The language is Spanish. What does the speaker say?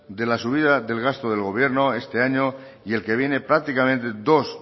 de la subida del gasto del gobierno este año y el que viene prácticamente dos